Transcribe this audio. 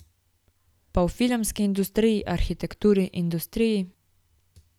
Pa v filmski industriji, arhitekturi, industriji ...